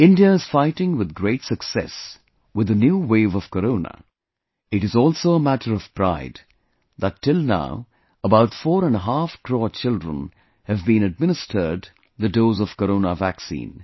India is fighting with great success with the new wave of corona, it is also a matter of pride that till now about four and a half crore children have been administered the dose of Corona Vaccine